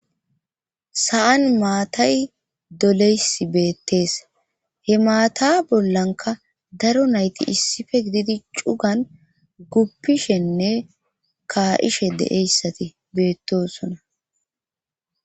Sa'an maatay doleys beettees he maata bollanka daro nayti issife gididi cugan guppishenne kaa7ishe deeyssati beettosona.